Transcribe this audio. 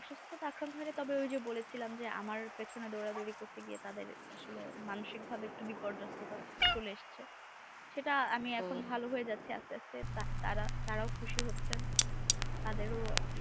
তখন হয়েছে বলেছিলাম আমার পেছনে দৌড়াদৌড়ি করতে গিয়ে তাদের মানসিকভাবে বিপর্যস্থতা চলে এসেছে সেটাই এখন আমি ভালো হয়ে যাচ্ছি আস্তে আস্তে তারাও খুশি হচ্ছে তাদেরও